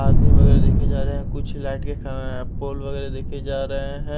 आदमी वगैरह देखे जा रहे हैं कुछ लाइट के अअ पोल वगैरह देखे जा रहे हैं।